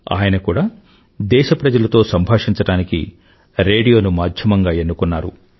ఆయన కూడా దేశప్రజలతో సంభాషించడానికి రేడియోను మాధ్యమంగా ఎన్నుకున్నారు